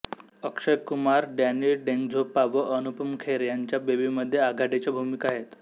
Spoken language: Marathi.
अक्षय कुमार डॅनी डेंझोग्पा व अनुपम खेर ह्यांच्या बेबीमध्ये आघाडीच्या भूमिका आहेत